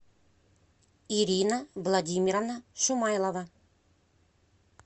ирина владимировна шумайлова